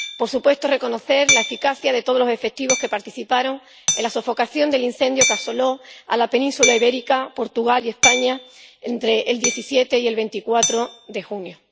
por supuesto, reconocer la eficacia de todos los efectivos que participaron en la sofocación del incendio que asoló la península ibérica —Portugal y España— entre el 17 y el 24 de junio.